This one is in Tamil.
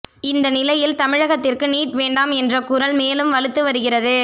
இந்த நிலையில் தமிழகத்திற்கு நீட் வேண்டாம் என்ற குரல் மேலும் வலுத்து வருகிறது